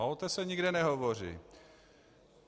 A o té se nikde nehovoří.